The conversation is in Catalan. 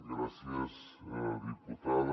gràcies diputada